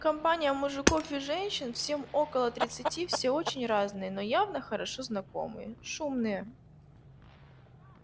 компания мужиков и женщин всем около тридцати все очень разные но явно хорошо знакомые шумные